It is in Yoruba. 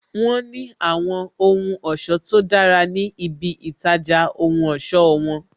Wọn ní àwọn ohun ọ̀sọ́ tó dára ní ibi itaja ohun ọ̀sọ́ won